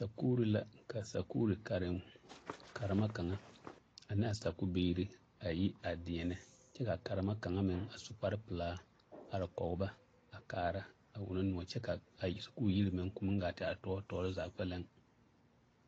Sakuuri la ka sakuuri karen karema kaŋa ane a sakubiiri a yi a deɛnɛ kyɛ kaa a karema kaŋa meŋ a su kparrepelaa are kɔge ba a kaara a wono noɔ kyɛ kaa sakuuri yiri meŋ koo meŋ gaa te are tɔɔre tɔɔre zaa kpɛlɛm.